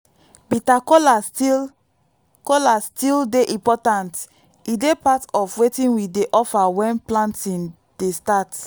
bitter kola still kola still dey important e dey part of wetin we dey offer when planting dey start.